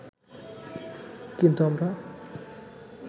কিন্তু আমরা